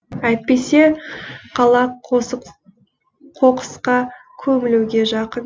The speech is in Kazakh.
әйтпесе қала қоқысқа көмілуге жақын